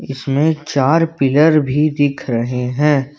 इसमें चार पिलर भी दिख रहे हैं।